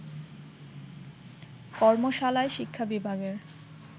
কর্মশালায় শিক্ষা বিভাগের